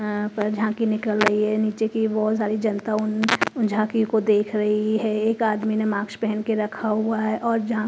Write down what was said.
यहाँ पर झांकी निकल रही है नीचे की बहुत सारी जनता उन उन झांकी को देख रही है एक आदमी ने माक्स पहन के रखा हुआ है और झां --